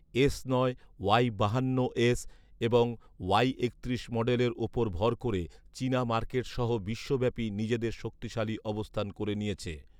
S নয়, Y বাহান্ন এবং ওয়াই একত্রিশ মডেলের ওপর ভর করে চীনা মার্কেটসহ বিশ্বব্যাপী নিজেদের শক্তিশালী অবস্থান করে নিয়েছে